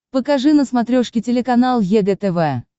покажи на смотрешке телеканал егэ тв